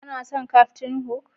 Ka na son kaftin huk?